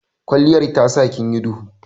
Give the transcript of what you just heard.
Kwalliyar tasa kinyi dubu.